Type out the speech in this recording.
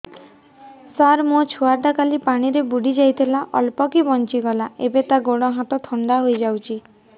ସାର ମୋ ଛୁଆ ଟା କାଲି ପାଣି ରେ ବୁଡି ଯାଇଥିଲା ଅଳ୍ପ କି ବଞ୍ଚି ଗଲା ଏବେ ତା ଗୋଡ଼ ହାତ ଥଣ୍ଡା ହେଇଯାଉଛି